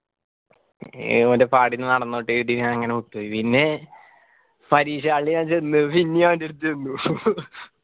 ഏർ മറ്റേ പാടിന് നടന്നോട്ടെ ഞാൻ ഇങ്ങനെ വിട്ടുപോയി പിന്നെ പരീക്ഷ hall ലു ഞാൻ ചെന്നു പിന്നിം അവൻ്റെ അടുത്ത് ഞാൻ ചെന്നു